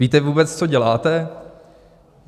Víte vůbec, co děláte?